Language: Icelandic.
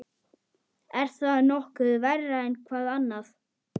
Er það nokkuð verra en hvað annað?